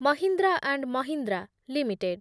Mahindra and Mahindra limited